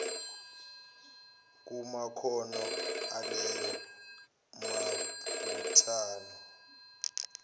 kumakhono aleyo mibuthano